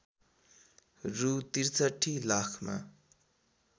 रु ६३ लाखमा